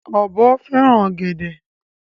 Ọ̀bọ fẹ́ràn ọ̀gẹ̀dè.